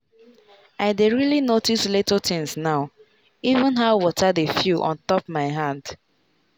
i dey really notice little things now — even how water dey feel on top my hand.